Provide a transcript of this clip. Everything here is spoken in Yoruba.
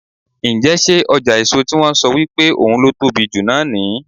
Ǹjẹ́ ṣé ọjà èso tí wón ń sọ wípé ohun ló tóbi jù náà ní.